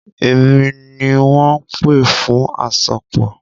Èmi ni wọ́n pè fún àsopọ̀.